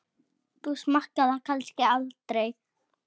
Þú smakkar það kannski aldrei?